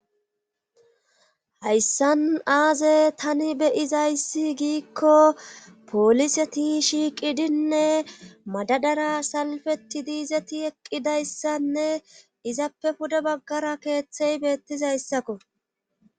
hayssan aaze tani beyizayssi giikko poliseti shiiqidinne madadara salfeti diizeti eqqidayssanne izappe pude baggara keeththey beettizayssakko